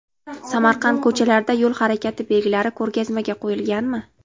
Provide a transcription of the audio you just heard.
Samarqand ko‘chalarida yo‘l harakati belgilari ko‘rgazmaga qo‘yilganmi?.